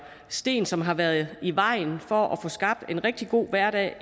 sten som har været i vejen for at få skabt en rigtig god hverdag